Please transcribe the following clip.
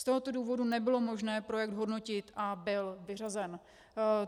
Z tohoto důvodu nebylo možné projekt hodnotit a byl vyřazen.